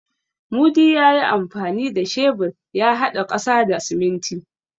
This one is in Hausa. Mudi ya yi amfani da shebur ya haɗa ƙasa da siminti.